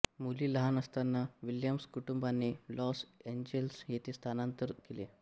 मुली लहान असताना विल्यम्स कुटुंबाने लॉस एंजेल्स येथे स्थानांतर केले